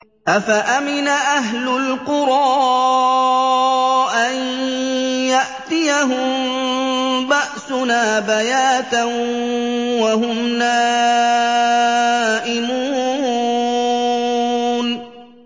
أَفَأَمِنَ أَهْلُ الْقُرَىٰ أَن يَأْتِيَهُم بَأْسُنَا بَيَاتًا وَهُمْ نَائِمُونَ